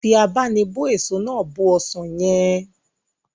Fi abá'nibó èso náà bó ọsàn yẹn